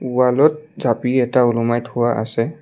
ৱালত জাঁপি এটা ওলোমাই থোৱা আছে।